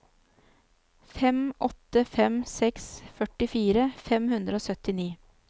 fem åtte fem seks førtifire fem hundre og syttini